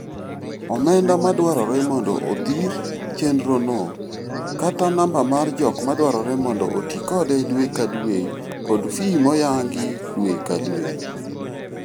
Omenda madwarore mond odhir chendrono, kata namba mar jok madwarore mond otii kode dwee ka dwee kod fee moyangi dwee ka dwee.